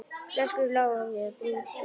Flöskur lágu á víð og dreif í grasinu.